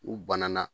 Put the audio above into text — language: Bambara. U banana